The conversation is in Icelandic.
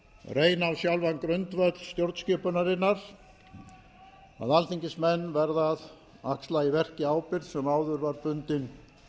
reyna á sjálfan grundvöll stjórnskipunarinnar að alþingismenn verða að axla í verki ábyrgð sem áður var bundin